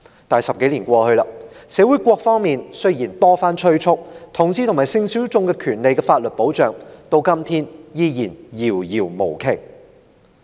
可是 ，10 多年後，雖然社會各方多番催促，但同志和性小眾所應享有的法定權利和保障，至今依然遙不可及。